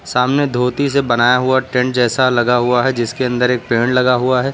सामने धोती से बनाया हुआ टेंट जैसा लगा हुआ है जिसके अंदर एक पेड़ लगा हुआ है।